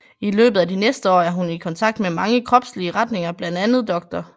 I løbet af de næste år er hun i kontakt med mange kropslige retninger bla Dr